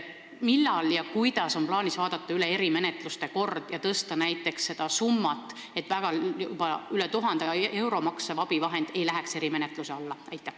Millal ja kuidas on plaanis üle vaadata erimenetluste kord ja tõsta näiteks seda piirsummat, nii et üle 1000 euro maksev abivahend ei läheks juba erimenetluse alla?